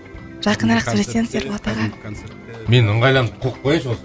жақынырақ сөйлесеңіз ерболат аға мен ыңғайланып қояйыншы осы